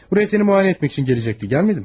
Bura səni müayinə etmək üçün gələcəkdi, gəlmədi?